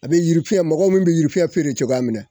A bɛ yirifiyɛn, mɔgɔ min bɛ yirifiyɛn feere cogoya mina